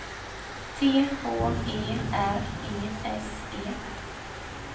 T H E R E S E